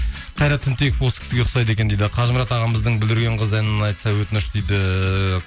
қайрат түнтеков осы кісіге ұқсайды екен дейді қажымұрат ағамыздың бүлдірген қызы әнін айтса өтініш дейді